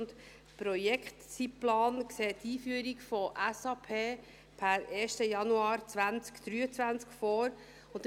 Der Projektzeitplan sieht die Einführung von SAP per 1. Januar 2023 vor.